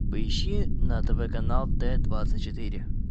поищи на тв канал т двадцать четыре